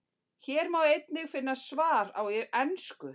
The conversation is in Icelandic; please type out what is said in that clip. Hér má einnig finna sama svar á ensku.